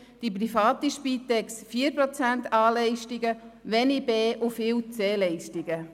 Die private Spitex hat 4 Prozent A-Leistungen, wenig an B- und viel an C-Leistungen.